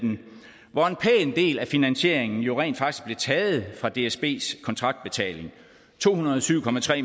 hvor en pæn del af finansieringen jo rent faktisk blev taget fra dsbs kontraktbetaling to hundrede og syv